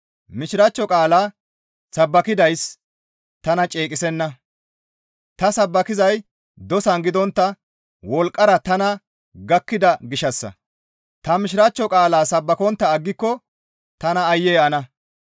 Mishiraachcho qaalaa sabbakidayssi tana ceeqissenna; ta sabbakizay dosan gidontta wolqqara tana gakkida gishshassa; ta Mishiraachcho qaalaa sabbakontta aggiko taas aayye ana!